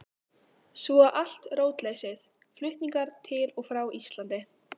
Svo allt rótleysið, flutningar til og frá Íslandi.